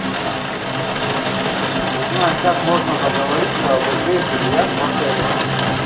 узнай как можно договориться об игре в бильярд в отеле